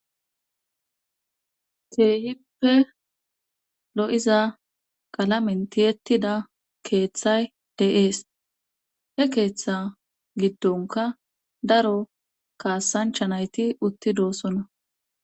keehippe lo'iza qalamen tiyettida keeththay de'ees he keeththa giddonkka daro kaasanchcha nayti uttidosona